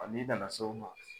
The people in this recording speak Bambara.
n'i nana s'o ma